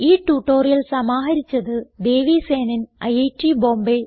ഈ ട്യൂട്ടോറിയൽ സമാഹരിച്ചത് ദേവി സേനൻ ഐറ്റ് ബോംബേ